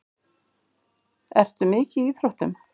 Ertu mikið í íþróttum?